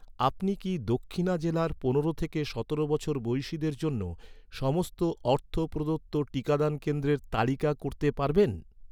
আপনি কি দক্ষিণা জেলার পনেরো থেকে সতেরো বছর বয়সিদের জন্য, সমস্ত অর্থ প্রদত্ত টিকাদান কেন্দ্রের তালিকা করতে পারবেন?